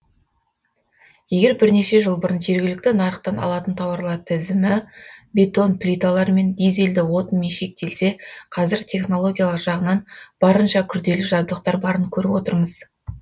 егер бірнеше жыл бұрын жергілікті нарықтан алатын тауарлар тізімі бетон плиталармен дизельді отынмен шектелсе қазір технологиялық жағынан барынша күрделі жабдықтар барын көріп отырмыз